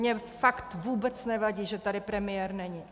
Mně fakt vůbec nevadí, že tady premiér není.